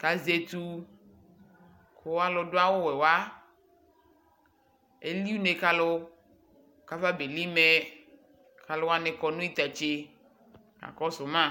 kazɛtu, kʋ aludʋ awuwɛ wa eli une kalu kafabeli mɛKaluwani kɔ nitatse ,kakɔsʋ ma